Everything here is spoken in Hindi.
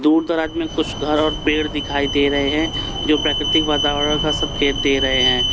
दूर दराद में कुछ घर और पेड़ दिखाई दे रहे हैं जो प्राकृतिक वातावरण का संकेत दे रहे हैं।